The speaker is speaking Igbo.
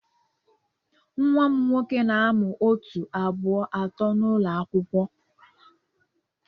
Nwa m nwoke na-amụ otu, abụọ, atọ n'ụlọ akwụkwọ.